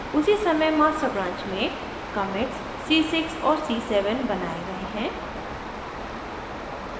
उसी समय master branch में commits c6 और c7 बनाए गए हैं